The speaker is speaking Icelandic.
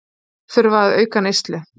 Þurfa að auka neyslu